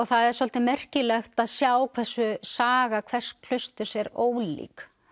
það er svolítið merkilegt að sjá hversu saga hvers klausturs er ólík